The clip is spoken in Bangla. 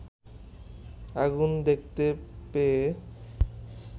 আগুন দেখতে পেয়ে